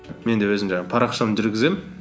мен де өзім жаңағы парақшамды жүргіземін